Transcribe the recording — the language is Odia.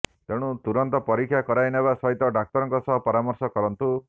ତେଣୁ ତୁରନ୍ତ ପରୀକ୍ଷା କରାଇ ନେବା ସହିତ ଡାକ୍ତରଙ୍କ ସହ ପରାମର୍ଶ କରନ୍ତୁ